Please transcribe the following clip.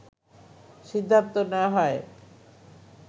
সিদ্ধান্ত নেয়া হয়